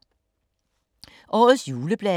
Årets juleblade